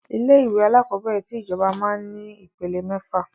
Ilé ìwé alakọ̀bẹ́ẹ́rẹ̀ tí ìjọba máa ń ní ìpele mẹ́fà